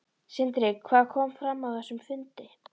Sindri: Hvað kom fram á þessum fundi?